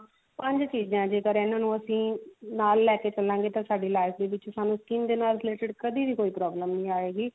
ਪੰਜ ਚੀਜ਼ਾਂ ਜੇਕਰ ਇਹਨਾਂ ਨੂੰ ਅਸੀਂ ਨਾਲ ਲੈ ਕੇ ਚੱਲਾਂਗੇ ਤਾਂ ਸਾਡੀ life ਦੇ ਵਿੱਚ ਸਾਨੂੰ skin ਦੇ related ਕਦੇ ਵੀ ਕੋਈ problem ਨਹੀ ਆਏਗੀ